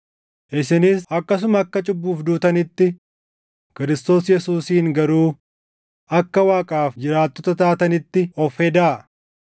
Isinis akkasuma akka cubbuuf duutanitti, Kiristoos Yesuusiin garuu akka Waaqaaf jiraattota taatanitti of hedaa.